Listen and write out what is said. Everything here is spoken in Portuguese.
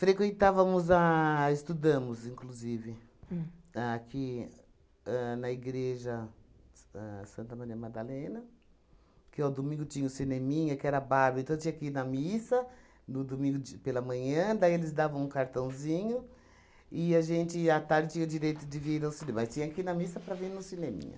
Frequentávamos a... Estudamos, inclusive, aqui ahn na Igreja S ahn Santa Maria Madalena, que ao domingo tinha o cineminha, que era bárbaro, então tinha que ir na missa no domingo de pela manhã, daí eles davam um cartãozinho, e a gente, à tarde tinha o direito de vir ao cinema, mas tinha que ir na missa para vir no cineminha.